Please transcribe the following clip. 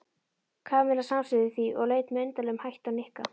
Kamilla samsinnti því og leit með undarlegum hætti á Nikka.